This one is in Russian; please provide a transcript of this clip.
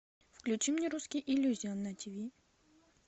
включи мне русский иллюзион на ти ви